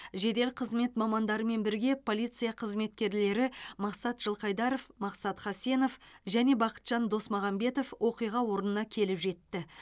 жедел қызмет мамандарымен бірге полиция қызметкерлері мақсат жылқайдаров мақсат хасенов және бақытжан досмағамбетов оқиға орнына келіп жетті